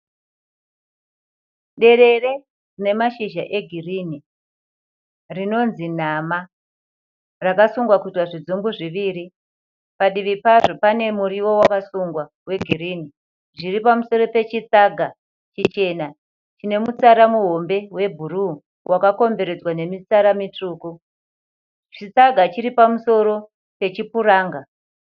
Derere rine mashizha egirini. Rinonzi nama rakasungwa kuitwa zvidzumbu zviviri. Padivi pazvo pane murio wakasungwa wegirini. Zviri pamusoro pechisaga chichena chine mutsara muhombe webhuruu. Wakakomberedzwa nemitsara mitsvuku. Chisaga chiri pamusoro pechipuranga.